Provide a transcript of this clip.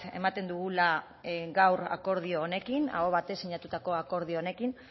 ematen dugula gaur akordio honekin aho batez sinatutako akordio honekin